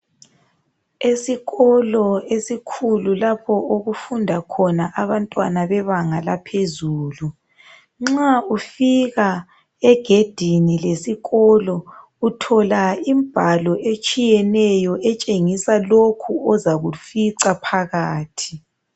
Esikolo esikhulu lapho okufunda khona abantwana bebanga laphezulu. Nxa ufika egedini lesikolo uthola imbhalo etshiyeneyo etshengisa lokho ozakufica phakathi.